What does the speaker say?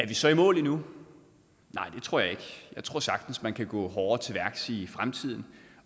vi så i mål endnu nej det tror jeg ikke jeg tror sagtens man kan gå hårdere til værks i fremtiden